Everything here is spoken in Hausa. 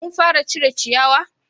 kun fara cire ciyawa?